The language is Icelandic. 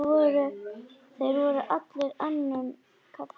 Þeir voru allir önnum kafnir.